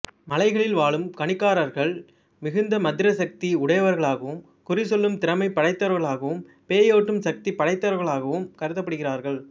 மலைகளில் வாழும் காணிக்காரார்கள் மிகுந்த மந்திர சக்தியுடையவர்களாகவும் குறி சொல்லும் திறமை படைத்தவர்களாகவும் பேய் ஓட்டும் சக்தி படைத்தவர்களாகவும் கருதப்படுகிறார்கள்